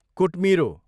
कुट्मिरो